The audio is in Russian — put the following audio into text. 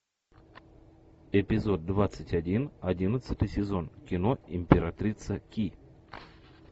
эпизод двадцать один одиннадцатый сезон кино императрица ки